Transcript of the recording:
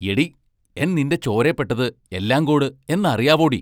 എടീ, എൻ നിന്റെ ചോരേപ്പെട്ടത് എല്ലാങ്കോട് എന്നറിയാവോടി?